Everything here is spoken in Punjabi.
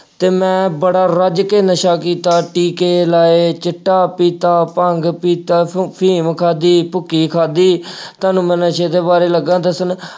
ਤੇ ਮੈਂ ਬੜਾ ਰੱਜ ਕੇ ਨਸ਼ਾ ਕੀਤਾ ਟੀਕੇ ਲਾਏ, ਚਿੱਟਾ ਪੀਤਾ, ਭੰਗ ਪੀਤਾ, ਫੁ ਅਹ ਅਫੀਮ ਖਾਧੀ, ਭੁੱਕੀ ਖਾਧੀ, ਤੁਹਾਨੂੰ ਮੈਂ ਨਸ਼ੇ ਦੇ ਬਾਰੇ ਲੱਗਾ ਦੱਸਣ।